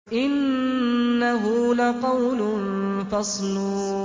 إِنَّهُ لَقَوْلٌ فَصْلٌ